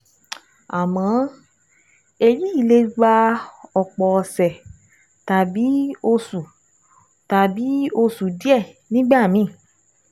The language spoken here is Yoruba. Àmọ́, èyí lè gba ọ̀pọ̀ ọ̀sẹ̀ tàbí oṣù tàbí oṣù díẹ̀ nígbà míì